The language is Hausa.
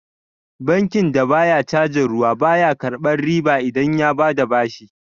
Bankin da baya cajin ruwa, ba ya karɓar riba idan ya bada bashi.